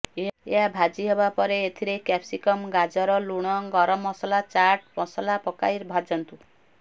ଏହା ଭାଜି ହେବା ପରେ ଏଥିରେ କ୍ୟାପସିକମ ଗାଜର ଲୁଣ ଗରମ ମସଲା ଚାଟ୍ ମସଲା ପକାଇ ଭାଜନ୍ତୁ